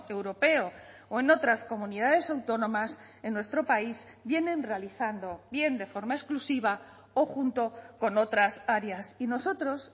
europeo o en otras comunidades autónomas en nuestro país vienen realizando bien de forma exclusiva o junto con otras áreas y nosotros